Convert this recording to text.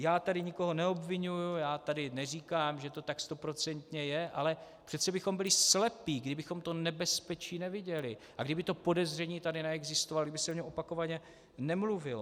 Já tady nikoho neobviňuji, já tady neříkám, že to tak stoprocentně je, ale přece bychom byli slepí, kdybychom to nebezpečí neviděli, a kdyby to podezření tady neexistovalo, kdyby se o něm opakovaně nemluvilo.